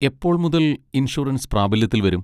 എപ്പോൾ മുതൽ ഇൻഷുറൻസ് പ്രാബല്യത്തിൽ വരും?